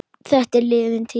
Þetta er liðin tíð.